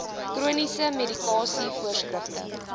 chroniese medikasie voorskrifte